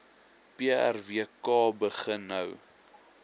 prwk begin nou